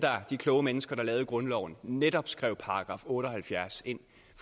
de kloge mennesker der lavede grundloven netop skrev § otte og halvfjerds ind